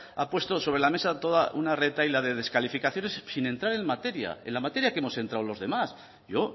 ha puesto sobre la mesa toda una retahíla de descalificaciones sin entrar en materia en la materia que hemos entrado los demás yo